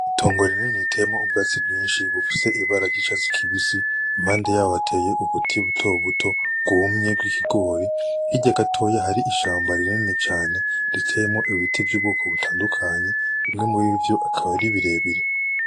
Itongo rinini riteyemwo ubwatsi bwinshi bufise ibara ry'icatsi kibisi impande yaho hateye ubuti butobuto bwumye bw'ikigori hirya gatoyi hari ishamba rinini cane riteyemwo ibiti vy'ubwoko butandukanye bimwe muri vyo akaba ari birebire.